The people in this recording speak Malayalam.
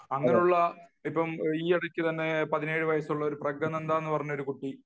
അങ്ങനെയുള്ള ഈയടുത്തു തന്നെ പതിനേഴു വയസ്സുള്ള ഒരു പ്രഗാനന്ദ എന്ന ഒരു കുട്ടി